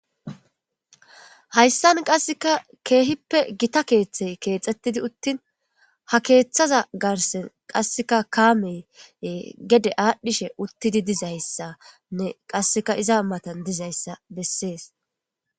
Hayssan qasseka keehippe gita keeththey keexxettidi uttin ha keeththaza garsen qasseka kaamey gede aadhdhishe uttidi dizayssanne qasseka iza matan dizayssa bessees.